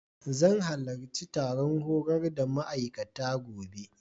Zan halarci taron horar da ma'aikata, gobe.